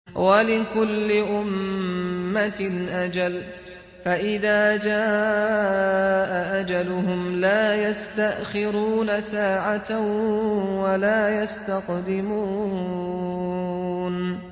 وَلِكُلِّ أُمَّةٍ أَجَلٌ ۖ فَإِذَا جَاءَ أَجَلُهُمْ لَا يَسْتَأْخِرُونَ سَاعَةً ۖ وَلَا يَسْتَقْدِمُونَ